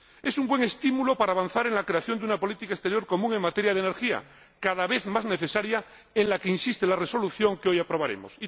Es un buen estímulo para avanzar en la creación de una política exterior común en materia de energía, cada vez más necesaria, en la que insiste la resolución que hoy aprobaremos.